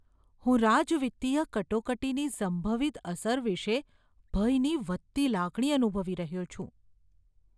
હું રાજવિત્તીય કટોકટીની સંભવિત અસર વિશે ભયની વધતી લાગણી અનુભવી રહ્યો છું.